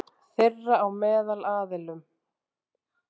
Þeirra á meðal aðilum.